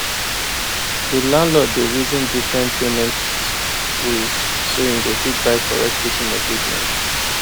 the landlord dey reason different payment ways so him go fit buy correct kitchen equipment